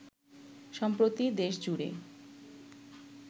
সম্প্রতি দেশজুড়ে